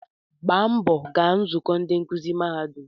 Gbaa mbọ gaa nzukọ ndị nkuzi mahadum